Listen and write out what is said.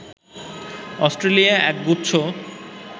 Australia এক গুচ্ছ